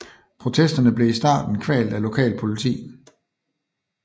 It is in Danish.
Protesterne blev i starten kvalt af lokalt politi